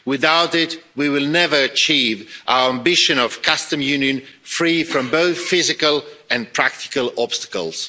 Without it, we will never achieve our ambition of a Customs Union free from both physical and practical obstacles.